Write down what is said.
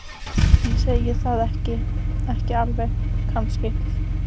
Ég segi það ekki. ekki alveg kannski.